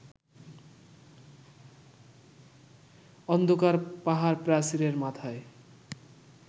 অন্ধকার পাহাড়-প্রাচীরের মাথায়